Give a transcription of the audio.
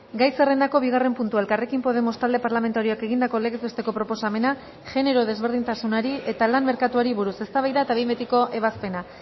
gai zerrendako bigarren puntua elkarrekin podemos talde parlamentarioak egindako legez besteko proposamena genero desberdintasunari eta lan merkatuari buruz eztabaida eta behin betiko ebazpena